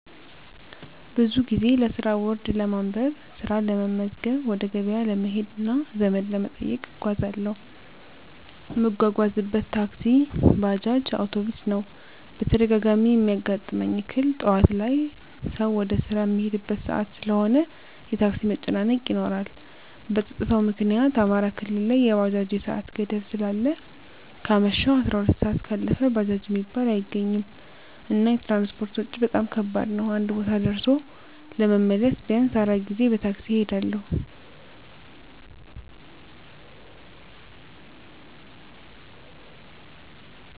ብዙ ጊዜ ለስራ ቦርድ ለማንበብ፣ ስራ ለመመዝገብ፣ ወደ ገበያ ለመሄድ እና ዘመድ ለመጠየቅ እጓዛለሁ። እምጓጓዝበት ታክሲ፣ ባጃጅ፣ አዉቶቢስ ነዉ። በተደጋጋሚ እሚያጋጥመኝ እክል ጠዋት ላይ ሰዉ ወደ ስራ እሚሄድበት ሰአት ስለሆነ የታክሲ መጨናነቅ ይኖራል። በፀጥታዉ ምክኒያት አማራ ክልል ላይ የባጃጅ የሰአት ገደብ ስላለ ከአመሸሁ 12 ሰአት ካለፈ ባጃጅ እሚባል አይገኝም። እና የትራንስፖርት ወጭ በጣም ከባድ ነዉ አንድ ቦታ ደርሶ ለመመለስ ቢያንስ 4 ጊዜ በታክሲ እሄዳለሁ።